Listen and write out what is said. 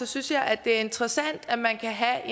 synes jeg at det er interessant at man kan have